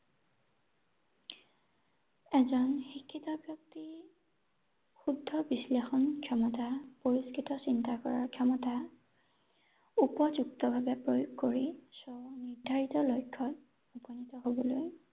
এজন শিক্ষিত ব্যক্তিৰ শুদ্ধ বিশ্লেষণ ক্ষমতা, পুৰস্কৃত চিন্তা কৰা ক্ষমতা উপযুক্ত ভাৱে প্ৰয়োগ কৰি স্ব-নিৰ্ধাৰিত লক্ষত উপনীত হ’বলৈ